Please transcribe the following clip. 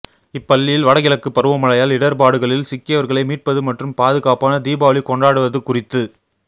இப்பள்ளியில் வடகிழக்கு பருவமழையால் இடா்பாடுகளில் சிக்கியவா்களை மீட்பது மற்றும் பாதுகாப்பான தீபாவளி கொண்டாடுவது குறித்து